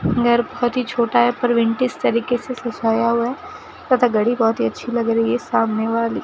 घर बहुत ही छोटा है पर विंटेज तरीके से सजाया हुआ है तथा घड़ी बहुत ही अच्छी लग रही है सामने वाली --